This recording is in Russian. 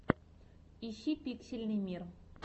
ищи пиксельный мир